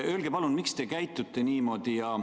Öelge palun, miks te käitute niimoodi!